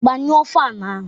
Gbanyụọ fan ahụ!